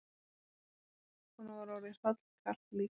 Honum var orðið hrollkalt líka.